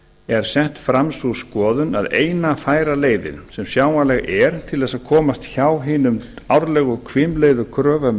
er sett fram sú skoðun að eina færa leiðin sem sjáanleg er til þess að komast hjá hinum árlegu hvimleiðu kröfum